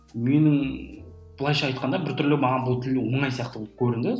менің былайша айтқанда біртүрлі маған бұл тіл оңай сияқты болып көрінді